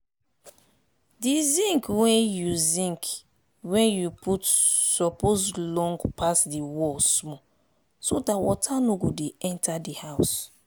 di zinc wey you zinc wey you put suppose long pass the wall small so dat water no go dey enter de house.